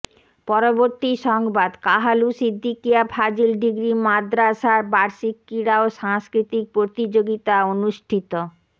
পরবর্তী সংবাদ কাহালু সিদ্দিকীয়া ফাজিল ডিগ্রী মাদ্রাসার বার্ষিক ক্রীড়া ও সাংস্কৃতিক প্রতিযোগিতা অনুষ্ঠিত